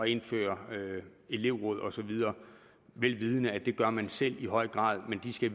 indføre elevråd osv vel vidende at det gør man selv i høj grad men de skal